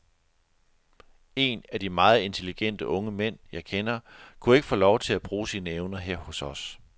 En af de meget intelligente unge mænd jeg kender, kunne ikke få lov at bruge sine evner her hos os.